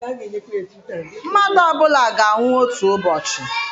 Mmadụ ọ bụla ga-anwụ otu ụbọchị.